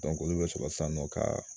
olu be sɔrɔ sisan nɔ ka